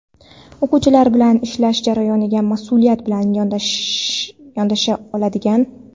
O‘quvchilar bilan ishlash jarayoniga mas’uliyat bilan yondasha oladigan.